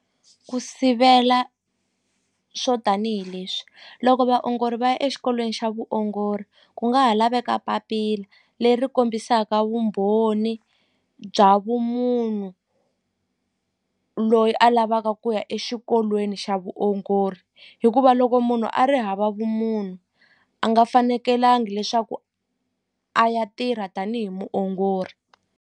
Ku sivela swo tanihileswi loko vaongori va ya exikolweni xa vuongori ku nga ha laveka papila leri kombisaka vumbhoni bya vumunhu loyi a lavaka ku ya exikolweni xa vuongori hikuva loko munhu a ri hava vumunhu a nga fanekelangi leswaku a ya tirha tanihi muongori.